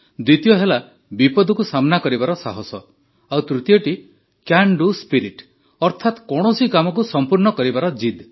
ଦ୍ୱିତୀୟ ହେଲା ବିପଦକୁ ସାମନା କରିବାର ସାହସ ଆଉ ତୃତୀୟଟି କ୍ୟାନ ଡୁ ସ୍ପିରିଟ୍ ଅର୍ଥାତ କୌଣସି କାମକୁ ସଂପୂର୍ଣ୍ଣ କରିବାର ଜିଦ୍